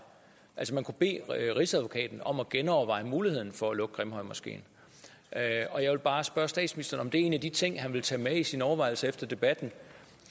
altså man kunne bede rigsadvokaten om at genoverveje muligheden for at lukke grimhøjmoskeen og jeg vil bare spørge statsministeren om en af de ting han vil tage med i sine overvejelser efter debatten